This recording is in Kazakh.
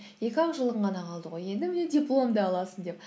екі ақ жылың ғана қалды ғой енді міне дипломыңды аласың деп